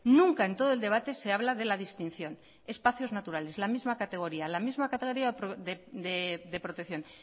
nunca en todo el debate se habla de la distinción espacios naturales la misma categoría de protección